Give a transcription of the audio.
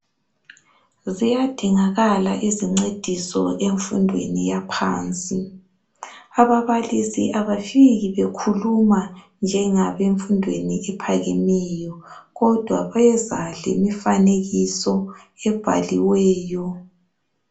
Ziyadingakala izincediso emfundweni yaphansi ababalisi abafiki bekhuluma njengasemfundweni ephakemeyo kodwa bayeza lemifanekiso ebhaliweyo.